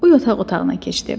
O yataq otağına keçdi.